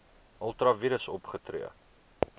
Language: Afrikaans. ultra vires opgetree